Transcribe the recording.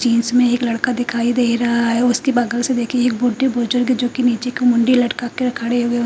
jeans में एक लड़का दिखाई दे रहा है उसके बगल से देखिए एक बुड्ढे बुजुर्ग जो कि नीचे को मुंडी लटका कर खड़े हुए--